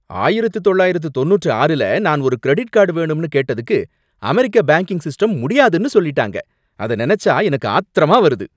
ஆயிரத்து தொள்ளாயிரத்து தொண்ணூற்று ஆறுல நான் ஒரு கிரெடிட் கார்டு வேணும்னு கேட்டதுக்கு அமெரிக்க பேங்க்கிங் சிஸ்டம் முடியாதுன்னு சொல்லிட்டாங்க, அத நினைச்சா எனக்கு ஆத்திரமா வருது.